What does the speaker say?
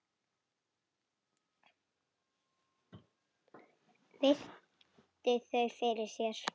Virti þau fyrir sér.